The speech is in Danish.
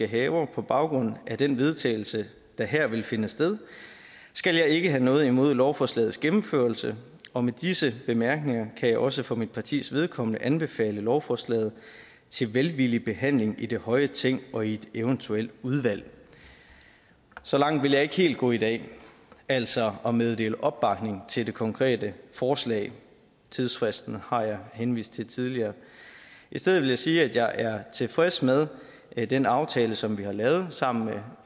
haver på baggrund af den vedtagelse der her vil finde sted skal jeg ikke have noget imod lovforslagets gennemførelse og med disse bemærkninger kan jeg også for mit partis vedkommende anbefale lovforslaget til velvillig behandling i det høje ting og i et eventuelt udvalg så langt vil jeg ikke helt gå i dag altså at meddele opbakning til det konkrete forslag tidsfristen har jeg henvist til tidligere i stedet vil jeg sige at jeg er tilfreds med med den aftale som vi har lavet sammen